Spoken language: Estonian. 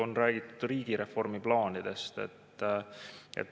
On räägitud riigireformi plaanidest.